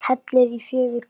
Hellið í fjögur glös.